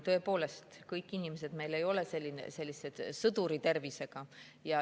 Tõepoolest, kõik inimesed ei ole sõduri tervisega.